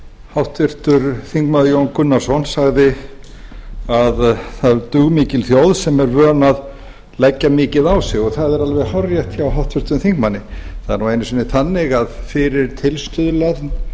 háttvirtur þingmaður jón gunnarsson sagði að það er dugmikil þjóð sem væri vön að leggja mikið á sig og það er alveg hárrétt hjá háttvirtum þingmanni það er nú einu sinni þannig að fyrir tilstuðlan